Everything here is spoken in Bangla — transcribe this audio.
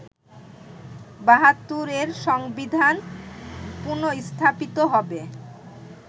৭২’র সংবিধান পুনর্স্থাপিত হবে